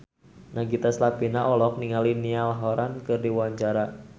Nagita Slavina olohok ningali Niall Horran keur diwawancara